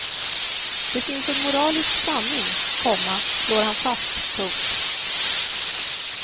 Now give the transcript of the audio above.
Det finns en moralisk sanning, komma slår han fast. punkt